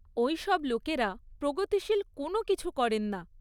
ওই সব লোকেরা প্রগতিশীল কোনও কিছু করেন না।